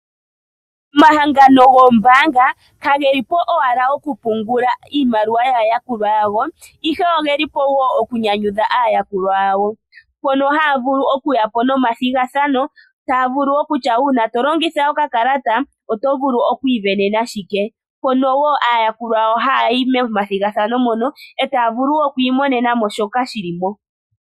Omahangano goombaanga kagelipo owala okupungula iimaliwa yaa yakulwa yago ihe ogelipo woo okunyanyudha aayakulwa yawo. mpono haya vulu okuyapo nomathigathano taya vulu okutya uuna tolongitha okakalata otovulu okwiisindanena shike mpono woo aayakulwa yawo ha yayi momathigathano mono etaya vulu oku imonenamo shoka shilipo.